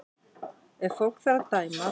Ef fólk þarf að dæma þá